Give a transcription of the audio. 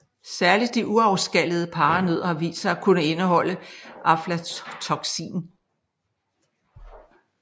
Særligt de uafskallede paranødder har vist sig at kunne indeholde aflatoksin